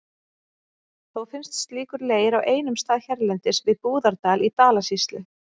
Þó finnst slíkur leir á einum stað hérlendis, við Búðardal í Dalasýslu.